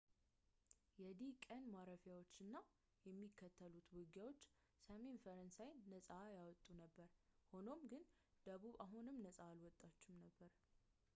የዲ-ቀን ማረፊያዎች እና የሚከተሉት ውጊያዎች ሰሜን ፈረንሳይን ነፃ ያወጡ ነበር ፣ ሆኖም ግን ደቡብ አሁንም ነፃ አልወጣም ነበር